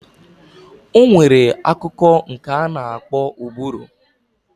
Onwere akụkụ nke ana akpo ụbụrụ.